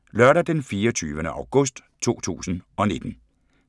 Lørdag d. 24. august 2019